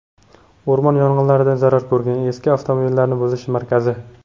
O‘rmon yong‘inlaridan zarar ko‘rgan eski avtomobillarni buzish markazi.